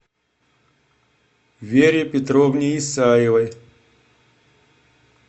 вере петровне исаевой